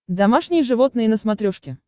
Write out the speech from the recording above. домашние животные на смотрешке